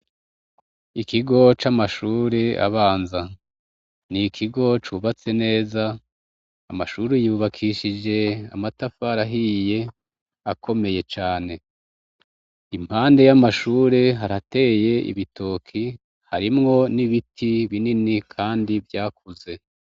Ikigo c'amashure abanza ni ikigo cubatse neza amashure yubakishije amatafari ahiye akomeye cane iruhande y' amashure harateye ibitoke harimwo n' ibiti binini binini kandi vyakuze.